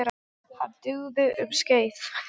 Hann dugði um skeið.